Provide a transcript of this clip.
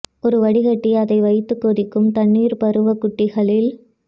ஒரு வடிகட்டி அதை வைத்து கொதிக்கும் தண்ணீர் பருவ குட்டிகளில்